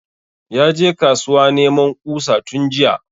Ya je kasuwa neman ƙusa tun jiya